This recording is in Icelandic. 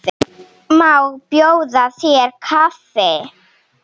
Má bjóða þér kaffi?